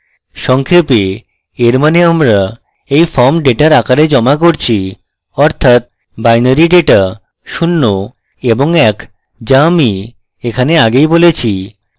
সংক্ষেপে in means আমরা in form ডেটার আকারে জমা করছিঅর্থাৎ binary dataশূণ্য এবং in যা আমি এখানে আগেই বলেছি